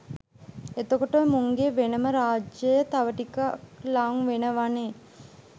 එතකොට මුන්ගේ වෙනම රාජ්‍යය තව ටිකක් ලං වෙනවනේ.